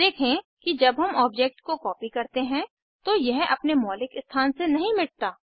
देखें कि जब हम ऑब्जेक्ट को कॉपी करते हैं तो यह अपने मौलिक स्थान से नहीं मिटता